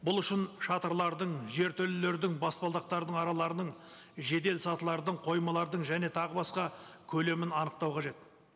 бұл үшін шатырлардың жертөлелердің баспалдақтардың араларының жедел сатылардың коймалардың және тағы басқа көлемін анықтау қажет